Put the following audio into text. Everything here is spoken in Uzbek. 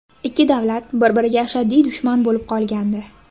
Ikki davlat bir-biriga ashaddiy dushman bo‘lib qolgandi.